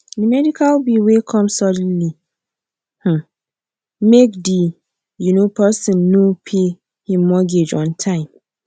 the medical bill wey come suddenly um make the um person no pay him mortgage on time